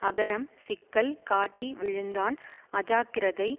அகரம் சிக்கல் காட்டி விழுந்தான் அஜாக்கிரதை